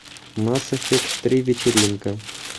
масс эффект три вечеринка